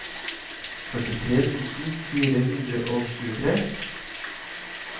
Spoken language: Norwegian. førtitre tusen fire hundre og tjuetre